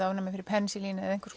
ofnæmi fyrir pensilíni eða